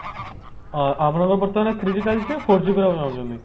ଆ ଆପଣଙ୍କର ବର୍ତମାନ three G ଚାଲିଛି four G ନେବାକୁ ଚହୁଁଛନ୍ତି